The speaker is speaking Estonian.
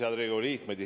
Head Riigikogu liikmed!